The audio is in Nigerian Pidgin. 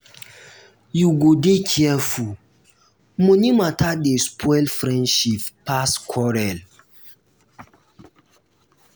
you go dey careful money mata dey spoil friendship pass quarrel.